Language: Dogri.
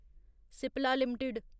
सिप्ला लिमिटेड